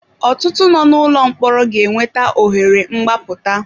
Ọtụtụ nọ n'ụlọ mkpọrọ ga enweta ohere mgbaputa.